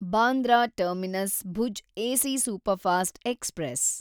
Bandra terminus Bhuj AC superfast express